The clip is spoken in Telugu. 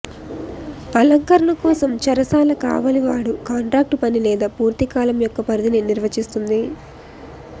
అలంకరణ కోసం చెరశాల కావలివాడు కాంట్రాక్టు పని లేదా పూర్తి కాలం యొక్క పరిధిని నిర్వచిస్తుంది